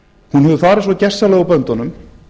hún hefur farið svo gersamlega úr böndunum